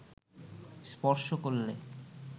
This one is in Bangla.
স্পর্শ করলে